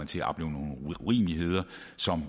til at opleve nogle urimeligheder sådan